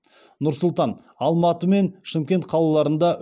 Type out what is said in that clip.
нұр сұлтан алматы мен шымкент қалаларында